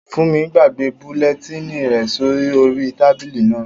Fúnmi gbàgbé bulẹtínì rẹ̀ sí orí tábìlì náà